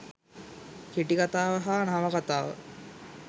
කෙටිකතාව හා නවකතාව